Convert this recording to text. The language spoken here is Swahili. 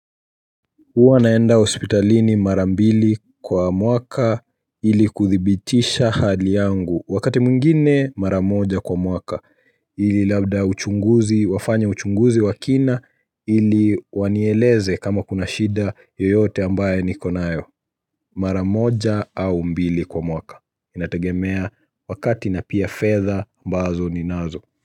Huwa naenda hospitalini mara mbili kwa mwaka ili kudhibitisha hali yangu wakati mwngine maramoja kwa mwaka ili labda uchunguzi wafanya uchunguzi wakina ili wanieleze kama kuna shida yoyote ambaye nikonayo maramoja au mbili kwa mwaka inategemea wakati na pia fedha ambazo ni nazo.